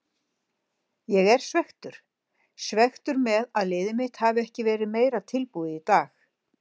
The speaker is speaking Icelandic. Ég er svekktur, svekktur með að liðið mitt hafi ekki verið meira tilbúið í dag.